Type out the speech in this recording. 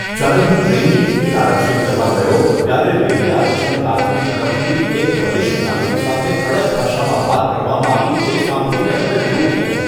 જ્યારે હું ટ્રેનની ટિકિટ આરક્ષિત કરવા ગયો ત્યારે રેલવે આરક્ષણ કારકુન તરફથી એક વરિષ્ઠ નાગરિક સાથે કડક ભાષામાં વાત કરવામાં આવી તે સાંભળીને મને દુઃખ થયું.